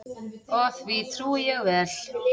Og því trúi ég vel.